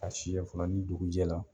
Ka si yɛ fana ni dugu jɛra